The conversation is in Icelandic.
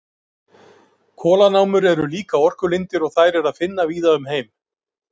Kolanámur eru líka orkulindir og þær er að finna víða um heim.